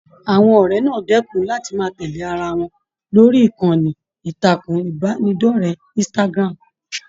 Àwọn ọrẹ náà dẹkùn láti máa tẹlé ará wọn lórí ìkànnì ìtàkùn ìbánidọ̀rẹ̀ Instagram.